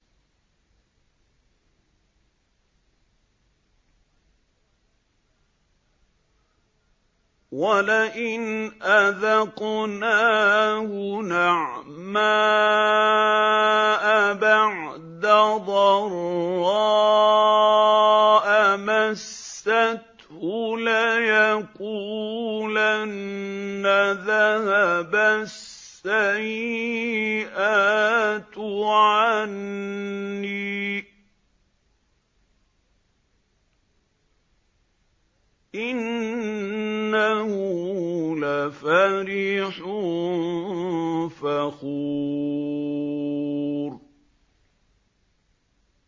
وَلَئِنْ أَذَقْنَاهُ نَعْمَاءَ بَعْدَ ضَرَّاءَ مَسَّتْهُ لَيَقُولَنَّ ذَهَبَ السَّيِّئَاتُ عَنِّي ۚ إِنَّهُ لَفَرِحٌ فَخُورٌ